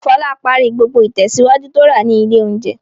Fọlá parí gbogbo ìtẹ̀síwájú tó rà ní ilé-oúnjẹ.